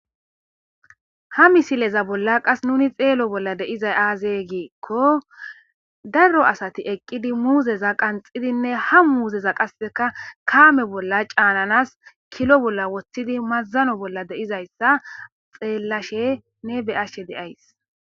ha misileza bolla qas nuni xeelo bolla deizay aaze giekko darro asati eqqidi muuzeza qanxidinne ha muuzeza qasseka kaame bolla caananas kilo bolla woththidi mazzano bolla deizayssa xeellashe ne beyashe deays